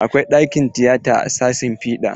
Akwai ɗakin tiyata a sashin fiɗa.